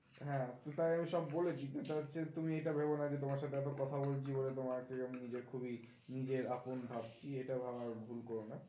হ্যাঁ তো তাই এই সব বলেছি, তুমি এটা ভেবো না তোমার সাথে এতো কথা বলছি বলে তোমাকে নিজের খুবই নিজের আপন ভাবছি, এটা ভাবায় ভুল করো না